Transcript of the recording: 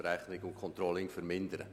Sie haben den Antrag angenommen.